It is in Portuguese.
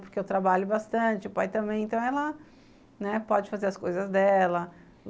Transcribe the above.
Porque eu trabalho bastante, o pai também, então ela, né, pode fazer as coisas dela.